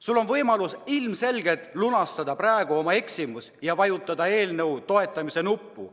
Sul on praegu võimalus oma eksimus heastada ja vajutada eelnõu toetamise nuppu.